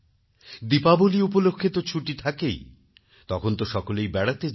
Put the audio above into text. দীপাবলী উপলক্ষে তো ছুটি থাকেই তখন তো সকলেই বেড়াতে যায়